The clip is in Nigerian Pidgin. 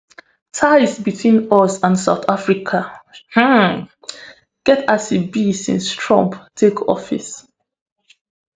ties between us and south africa um get as e be since trump take office